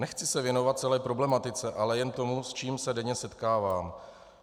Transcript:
Nechci se věnovat celé problematice, ale jen tomu, s čím se denně setkávám.